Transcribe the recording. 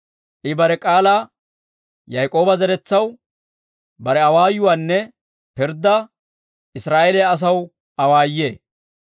I bare k'aalaa Yaak'ooba zeretsaw, bare awaayuwaanne pirddaa Israa'eeliyaa asaw awaayee.